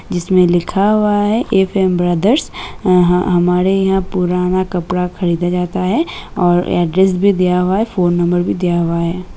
जिसमें लिखा हुआ है एफ.एम. ब्रदर्स । ए ह हमारे यहाँं पुराना कपड़ा भी खरीदा जाता है और ऐड्रेस भी दिया हुआ है फोन नंबर भी दिया हुआ है।